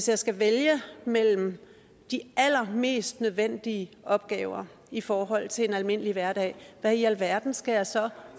jeg skal vælge mellem de allermest nødvendige opgaver i forhold til en almindelig hverdag hvad i alverden skal jeg så